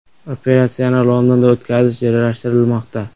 Operatsiyani Londonda o‘tkazish rejalashtirilmoqda.